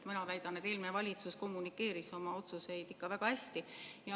Mina väidan, et eelmine valitsus kommunikeeris oma otsuseid ikka väga hästi.